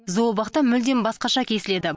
зообақта мүлдем басқаша кесіледі